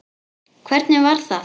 Hvernig var það?